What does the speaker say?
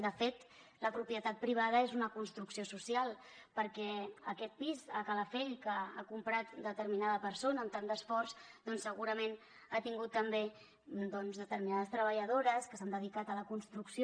de fet la propietat privada és una construcció social perquè aquest pis a calafell que ha comprat una determinada persona amb tant d’esforç doncs segurament ha tingut també doncs determinades treballadores que s’han dedicat a la construcció